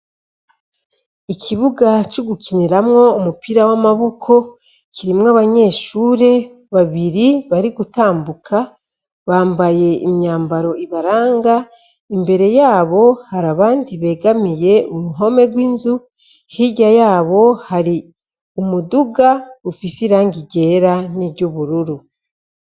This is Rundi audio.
Ikibuga co gukiniramwo umupira w'amaboko kirimwo abanyeshure babiri bari gutambuka bambaye imyambaro ibaranga. Imbere yabo hari abandi begamiye uruhome rw'inzu hirya yabo hari umuduga uwufise irangi ryera n'iryubururu.